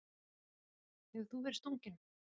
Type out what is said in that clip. Lillý Valgerður: Hefur þú verið stunginn?